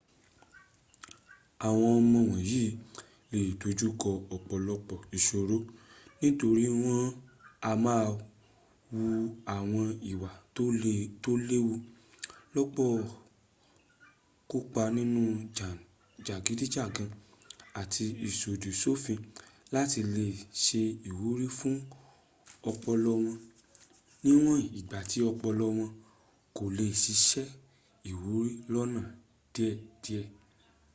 àwọn ọmọ wọ̀nyí le dojúkọ ọ̀pọ̀lọpọ̀ ìsòro nítorí wọn a máà wu àwọn ìwà tó léwu kópa nínú jàgídíjàkan àti ìsọ̀dì sòfin láti lè se ìwúrí fún ọpọlọ wọn níwọn ìgbà tí ọpọlọ wọn kò lè sisẹ́ ìwúrí lónà déédéé